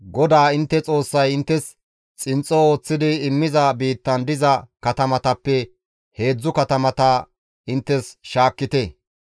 GODAA intte Xoossay inttes xinxxo ooththidi immiza biittan diza katamatappe heedzdzu katamata inttes shaakkite.